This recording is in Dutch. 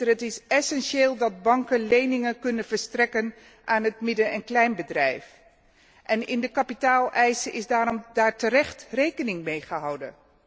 Het is essentieel dat banken leningen kunnen verstrekken aan het midden en kleinbedrijf en in de kapitaaleisen is daarmee terecht rekening gehouden.